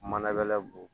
Mana don